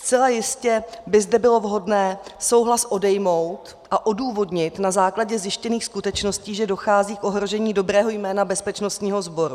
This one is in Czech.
Zcela jistě by zde bylo vhodné souhlas odejmout a odůvodnit na základě zjištěných skutečností, že dochází k ohrožení dobrého jména bezpečnostního sboru.